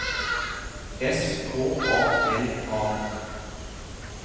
S K A L A